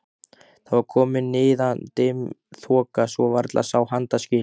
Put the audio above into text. Það var komin niðadimm þoka svo varla sá handaskil.